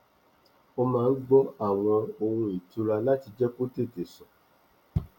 ó máa n gbọ àwọn ohùn ìtura láti jẹ kó tètè sùn